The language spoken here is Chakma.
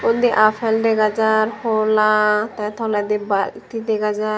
undi appal dega jar holla te toledi balti dega jar.